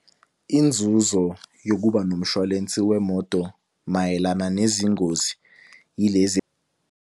Inzuzo yokuba nomshwalensi wemoto mayelana nezingozi yilezi.